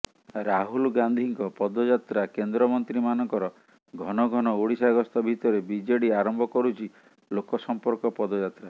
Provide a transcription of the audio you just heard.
ରାହୁଲ ଗାନ୍ଧିଙ୍କ ପଦଯାତ୍ରା କେନ୍ଦ୍ରମନ୍ତ୍ରୀମାନଙ୍କର ଘନଘନ ଓଡିଶା ଗସ୍ତ ଭିତରେ ବିଜେଡି ଆରମ୍ଭ କରୁଛି ଲୋକସମ୍ପର୍କ ପଦଯାତ୍ରା